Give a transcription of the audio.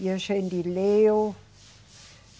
E a gente leu.